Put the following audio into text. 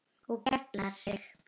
Og geiflar sig.